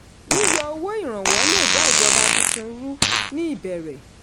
yíyọ owó ìrànwọ́ le dá ìjọba tuntun ru ní ìbẹ̀rẹ̀.